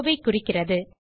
rowஐ குறிக்கிறது